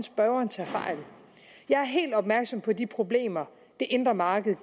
spørgeren tager fejl jeg er helt opmærksom på de problemer det indre marked